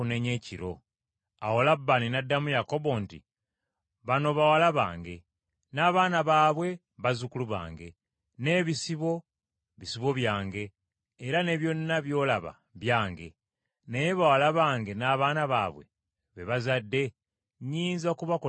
Awo Labbaani n’addamu Yakobo nti, “Bano bawala bange, n’abaana baabwe bazzukulu bange, n’ebisibo, bisibo byange era ne byonna byolaba byange. Naye bawala bange n’abaana baabwe be bazadde, nnyinza kubakolera ki leero?